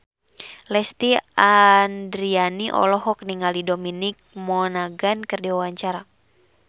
Lesti Andryani olohok ningali Dominic Monaghan keur diwawancara